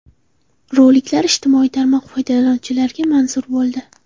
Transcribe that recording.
Roliklar ijtimoiy tarmoq foydalanuvchilariga manzur bo‘ldi.